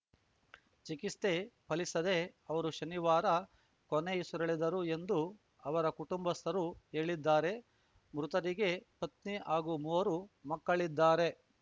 ಚಿಕಿಸ್ತೆ ಫಲಿಸದೇ ಅವರು ಶನಿವಾರ ಕೊನೆಯುಸಿರೆಳೆದರು ಎಂದು ಅವರ ಕುಟುಂಸ್ಥರು ಹೇಳಿದ್ದಾರೆ ಮೃತರಿಗೆ ಪತ್ನಿ ಹಾಗೂ ಮೂವರು ಮಕ್ಕಳಿದ್ದಾರೆ